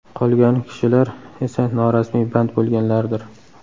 Qolgani kishilar esa norasmiy band bo‘lganlardir.